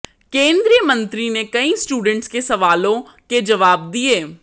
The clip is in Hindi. केंद्रीय मंत्री ने कई स्टूडेंट्स के सवालों के जवाब दिए